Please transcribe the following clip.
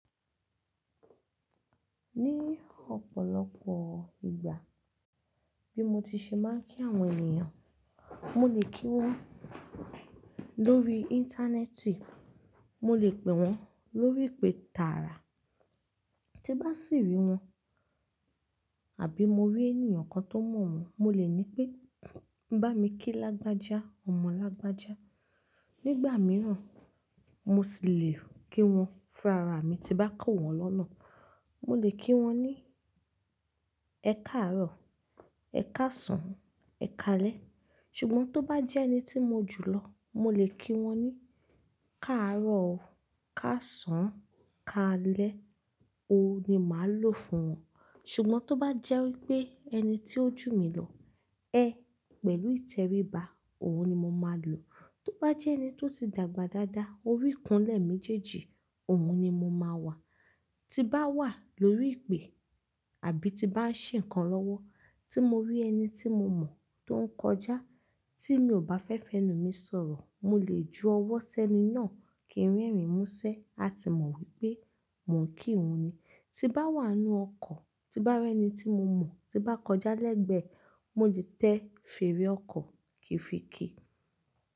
Ní ọ̀pọ̀lọpọ̀ ìgbà, bí mo ti ṣe máa ń kí àwọn ènìyàn, mo lè kí wọn lórí Íńtánẹ́ẹ̀tì, mo lè pè wọ́n lórí ìpè tààrà. Tí bá sì rí wọn àbí mo rí ènìyàn kan tó mọ̀ wọ́n, mo lè ní pé, "Bá mi kí Lágbájá, ọmọ Lágbájá." Nígbà mìíràn, mo sì lè kí wọn fún ara mi tí bá kọ̀ wọ́n lọ́nà. Mo lè kí wọ́n ní, "Ẹ káàárọ̀, ẹ káàsán, ẹ káalẹ́." Ṣùgbọ́n tó bá jẹ́ ẹni tí mo jù lọ, mo lè kí wọ́n ní, "Káàárọ̀ o, káàsán, káalẹ́ o" ni màá lò fún wọn. Ṣùgbọ́n tó bá jẹ́ wí pé ẹni tí ó jù mi lọ, "Ẹ́" pẹ̀lú ìtẹríba, òun ni mo máa lò. Tó bá jẹ́ ẹni tó ti dàgbà dáadáa, orí ikunlẹ̀ méjèèjì, òun ni mo máa wà. Tí bá wà lórí ìpè àbí tí bá ń ṣe nǹkan lọ́wọ́, tí mo rí ẹni tí mo mọ̀ tó ń kọjá tí mi ò bá fẹ́ fẹnu mi sọ̀rọ̀, mo lè ju ọwọ́ sẹ́ni náà kí n rẹ́rìn músẹ́, a ti mọ̀ wípé mò ń kí òun ni. Tí bá wà nínú ọkọ̀, tí bá rí ẹni tí mo mọ̀ tí bá kọjá lẹ́gbẹ̀ẹ́, mo lè tẹ fèrè ọkọ̀ kìfikì.